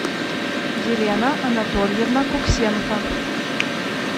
елена анатольевна куксенко